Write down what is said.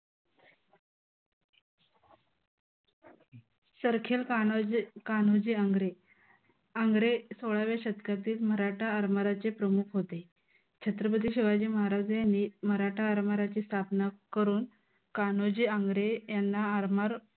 सरखेल कान्होजी कान्होजी आंग्रे. आंग्रे सोळाव्या शतकातील मराठा आरमाराचे प्रमुख होते छत्रपती शिवाजी महाराज यांनी मराठा आरमाराची स्थापना करून कान्होजी आंग्रे यांना आरमार